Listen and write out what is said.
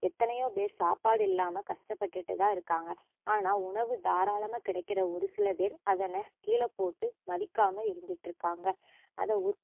எத்தனையோ பேர் சாப்பாடு இல்லாம கஷ்டப்பட்டுட்டுதான் இருக்காங்க ஆனா உணவு தாரளமா கிடைக்கிற ஒருசில பேர் அதனை கீழபோட்டு மதிக்காம இருந்துட்டுருக்காங்க